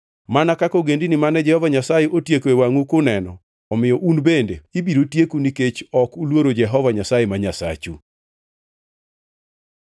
Mana kaka ogendini mane Jehova Nyasaye otieko e wangʼu kuneno, omiyo un bende ibiro tieku nikech ok uluoro Jehova Nyasaye ma Nyasachu.